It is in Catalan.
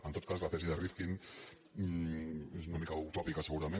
en tot cas la tesi de rifkin és una mica utòpica segurament